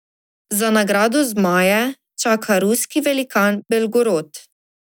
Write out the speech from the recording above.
Za nagrado zmaje čaka ruski velikan Belgorod.